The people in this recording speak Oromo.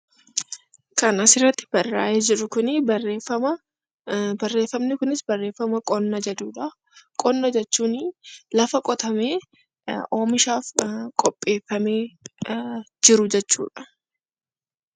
Barreeffamni argaa jirru kun barreeffama qonna jedhudha. Qonna jechuun lafa qotamee oomishaaf qopheeffamee jiru jechuudha.